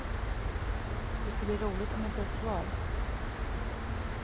Det ska bli roligt om jag får ett svar.